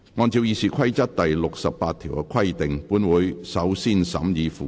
按照《議事規則》第68條的規定，本會首先審議附表。